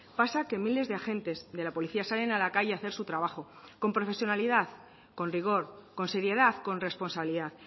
pasa que miles de agentes de la policía salen a la calle a hacer su trabajo con profesionalidad con rigor con seriedad con responsabilidad